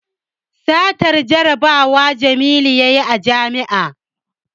Satan jarabawa jamilu yayi a jami'a